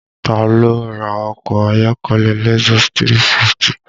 Taa ló ra ọkọ ayọ́kẹ́lẹ́ Lexus 350?